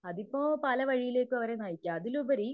അതിപ്പോ പല വഴിയിലേക്കും അവരെ നയിക്യാ അതിലുപരി